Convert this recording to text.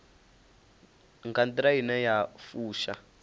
nga nḓila ine ya fusha